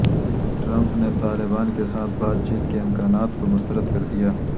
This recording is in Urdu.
ٹرمپ نے طالبان کے ساتھ بات چیت کے امکانات کو مسترد کردیا